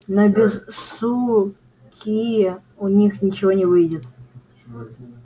но без суки у них ничего не выйдет